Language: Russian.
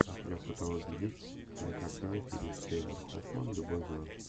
у тебя в каталоге есть кинокартина филип сеймур хоффман любовь зла